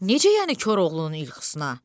Necə yəni Koroğlunun ilxısına?